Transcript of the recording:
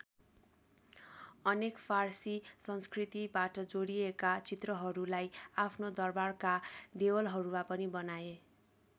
अनेक फारसी संस्कृतिबाट जोडिएका चित्रहरूलाई आफ्नो दरबारका देवलहरूमा पनि बनाए।